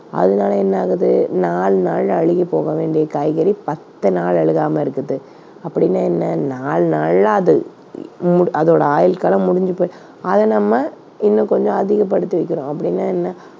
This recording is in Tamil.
அதனால என்ன ஆகுது நாலு நாள்ல அழுகி போக வேண்டிய காய்கறி பத்து நாள் அழுகாம இருக்குது. அப்படின்னா என்ன நாலு நாள்ல அது இ~ மூடு~ அதோட ஆயுட்காலம் முடிஞ்சுது. அதை நம்ம இன்னும் கொஞ்சம் அதிகப்படுத்தி வைக்கிறோம் அப்படின்னா என்ன